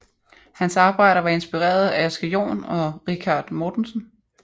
Hans arbejder var inspireret af Asger Jorn og Richard Mortensen